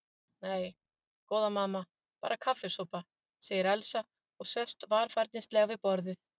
Nei, góða mamma, bara kaffisopa, segir Elsa og sest varfærnislega við borðið.